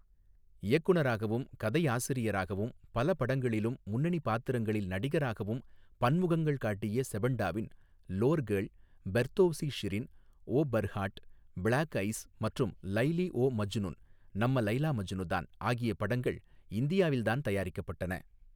இயக்குநராகவும் கதையாசிரியராகவும் பல படங்களிலும் முன்னணிப் பாத்திரங்களில் நடிகராகவும் பன்முகங்கள் காட்டிய செபன்டாவின் லோர் கேர்ல் பெர்தோவ்சி ஷிரின் ஓ பர்ஹாட் பிளாக் ஐஸ் மற்றும் லைலி ஓ மஜ்னுன் நம்ம லைலா மஜ்னு தான் ஆகிய படங்கள் இந்தியாவில் தான் தயாரிக்கப்பட்டன.